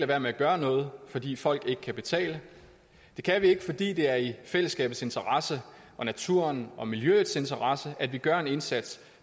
være med at gøre noget fordi folk ikke kan betale det kan vi ikke fordi det er i fællesskabets interesse og naturens og miljøets interesse at vi gør en indsats